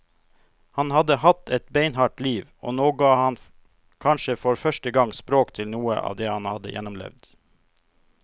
Han hadde hatt et beinhardt liv, og nå ga han kanskje for første gang språk til noe av det han hadde gjennomlevd.